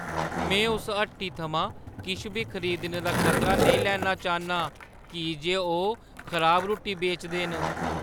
में उस हट्टी थमां किश बी खरीदने दा खतरा नेईं लैना चाह्न्नां की जे ओह् खराब रुट्टी बेचदे न।